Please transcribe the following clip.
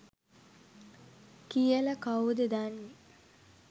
කියලා කවුද දන්නේ.